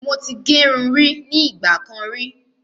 Mo ti gẹrun rí ní ìgbà kan rí